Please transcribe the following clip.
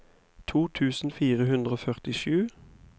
to tusen fire hundre og førtisju